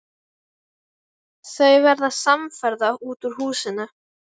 Þau verða samferða út úr húsinu.